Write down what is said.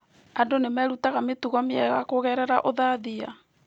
Andũ nĩ merutaga mĩtugo mĩega kũgerera ũthathiya.